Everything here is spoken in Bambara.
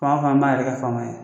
Fanga fana b'a yɛrɛ kɛ fama ye